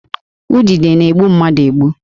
Udide na-egbu mmadụ egbu